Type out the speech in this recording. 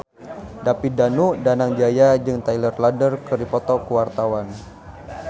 David Danu Danangjaya jeung Taylor Lautner keur dipoto ku wartawan